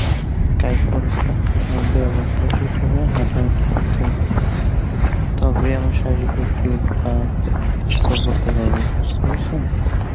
হাটাহাটি করতে হবে তবে আমি শারীরিকভাবে fit বা সুস্থ বলতে পারব, বুঝতে পেরেছ?